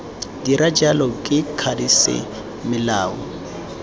dira jalo ke mokwadise melao